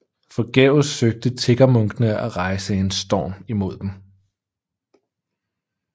Forgæves søgte tiggermunkene at rejse en storm imod dem